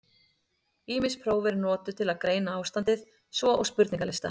Ýmis próf eru notuð til að greina ástandið, svo og spurningalistar.